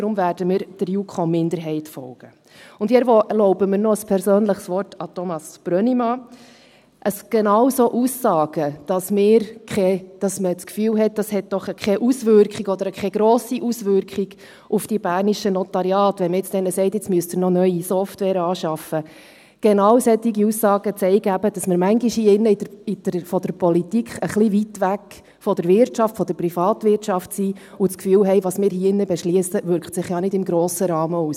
Daher werden wir der JuKo-Minderheit folgen, und ich erlaube mir noch ein persönliches Wort an Thomas Brönnimann: Genau solche Aussagen, dass man das Gefühl hat, es habe doch keine oder keine grosse Auswirkung auf die bernischen Notariate, wenn man diesen nun sagt, «Jetzt müsst ihr noch neue Software anschaffen», genau solche Aussagen zeigen eben, dass wir manchmal hier im Grossen Rat in der Politik ein wenig weit weg sind von der Wirtschaft, von der Privatwirtschaft und das Gefühl haben, was wir hier drin beschliessen, wirke sich ja nicht im grossen Rahmen aus.